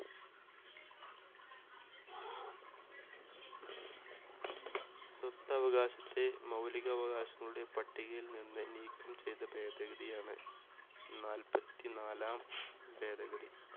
സ്വത്തവകാശത്തെ മൗലിക അവകാശങ്ങളുടെ പട്ടികയിൽ നിന്ന് നീക്കം ചെയ്ത ഭേദഗതിയാണ് നാല്പത്തിനാലാം ഭേദഗതി.